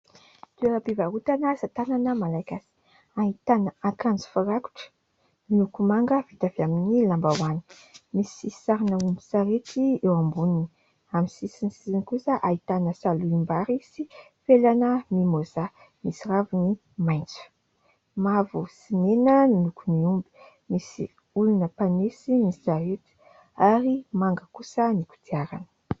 Toeram-pivarotana asa tànana malagasy, ahitàna akanjo firakotra, miloko manga vita avy amin'ny lambahoany. Misy sarina omby sy sarety eo amboniny, amin'ny sisiny kosa dia ahitana salohim-bary sy felana mimoza misy raviny maitso. Mavo sy mena ny lokon'ny omby, misy olona mpanesy ny sarety, ary manga kosa ny kodiarana.